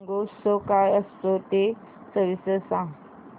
शिमगोत्सव काय असतो ते सविस्तर सांग